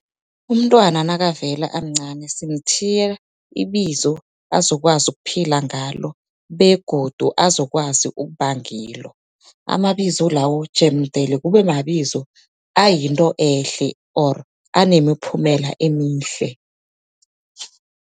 Umntwana nakavela amncani simthiya ibizo, azokwazi ukuphila ngalo begodu azokwazi ukuba ngilo. Amabizo lawo jemdele kube mabizo ayinto ehle or anemiphumela emihle.